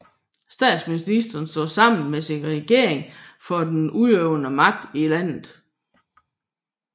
Statsministeren står sammen med sin regering for den udøvende magt i landet